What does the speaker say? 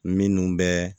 Minnu bɛ